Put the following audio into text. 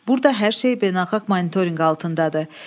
Burada hər şey beynəlxalq monitorinq altındadır.